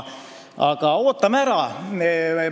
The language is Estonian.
Aga ootame ära!